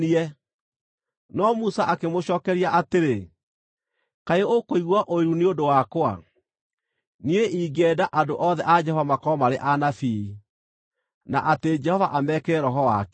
No Musa akĩmũcookeria atĩrĩ, “Kaĩ ũkũigua ũiru nĩ ũndũ wakwa? Niĩ ingĩenda andũ othe a Jehova makorwo marĩ anabii, na atĩ Jehova amekĩre Roho wake!”